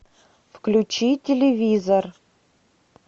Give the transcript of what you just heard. включи телевизор